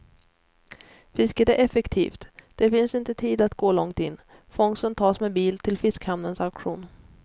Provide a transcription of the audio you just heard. Fisket är effektivt, det finns inte tid att gå långt in, fångsten tas med bil till fiskhamnens auktion.